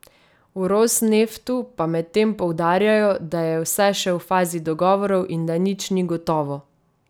V Rosneftu pa medtem poudarjajo, da je vse še v fazi dogovorov in da nič ni gotovo.